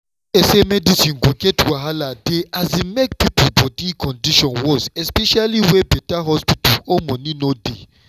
fear say medicine go get wahala dey um make people body condition worse especially where better hospital or money no dey.